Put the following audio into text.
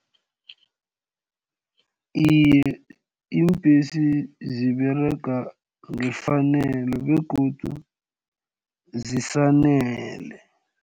Iye, iimbesi ziberega ngefanelo begodu zisanele.